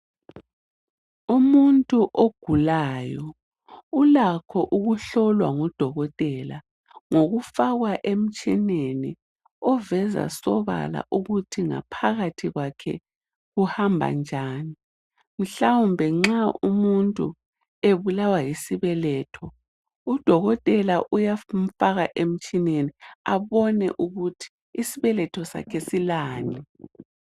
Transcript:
Umuntu ogulayo ulakho ukuhlolwa ngudokotela ngokufakwa emtshineni okuveza sobala ukuthi ngaphakathi kwakhe kuhamba njani, mhlawumbe nxa umuntu ebulawa yisibeletho, udokotela uyamfaka emtshineni abone ukuthi isibeletho sakhe silani.